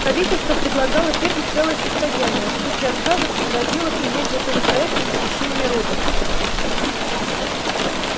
правительство предлагало фирме целое состояние а в случае отказа пригрозило принять законопроект о запрещении роботов